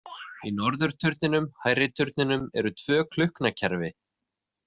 Í norðurturninum, hærri turninum, eru tvö klukknakerfi.